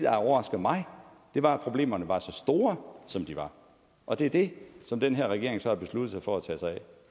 har overrasket mig var at problemerne var så store som de var og det er det som den her regering så har besluttet sig for at tage sig af